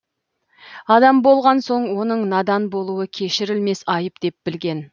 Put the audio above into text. адам болған соң оның надан болуы кешірілмес айып деп білген